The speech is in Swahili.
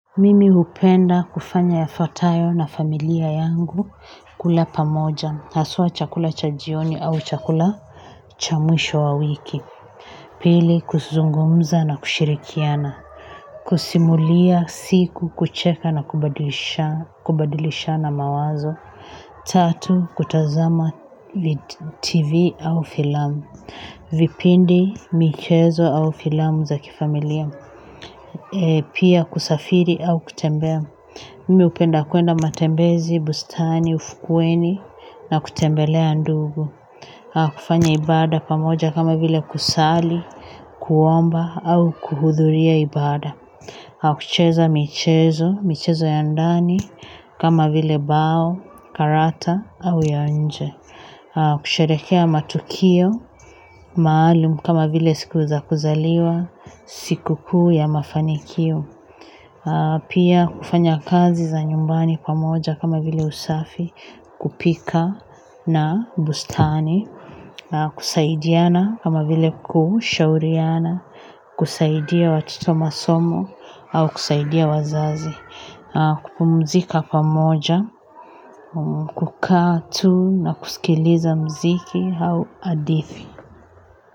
Mimi hupenda kufanya yafatayo na familia yangu kula pamoja haswa chakula cha jioni au chakula cha mwisho wa wiki pili kuzungumza na kushirikiana. Kusimulia siku kucheka na kubadilishana mawazo tatu kutazama TV au filamu vipindi michezo au filamu za kifamilia pia kusafiri au kutembea mimi hupenda kwenda matembezi, bustani, ufukweni na kutembelea ndugu. Kufanya ibada pamoja kama vile kusali, kuomba au kuhudhuria ibada. Kucheza michezo, michezo ya ndani kama vile bao, karata au ya nje. Kusherehekea matukio maalumu kama vile siku za kuzaliwa sikukuu ya mafanikio pia kufanya kazi za nyumbani pamoja kama vile usafi kupika na bustani, kusaidiana kama vile kushauriana, kusaidia watoto masomo au kusaidia wazazi, kupumzika pamoja, kukaa tu na kusikiliza mziki au hadithi.